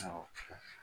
Awɔ